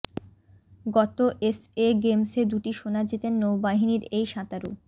গত এসএ গেমসে দুটি সোনা জেতেন নৌ বাহিনীর এই সাঁতারু